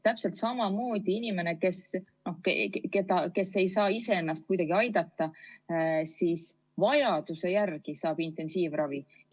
Täpselt samamoodi, inimene, kes ei saa ise ennast kuidagi aidata, saab vajaduse järgi intensiivravi.